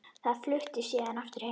Þau fluttu síðar aftur heim.